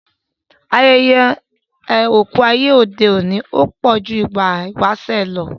Ayẹyẹ oku ayé òde òní pọ̀ ju ti ìgbà ìwáṣẹ̀ lọ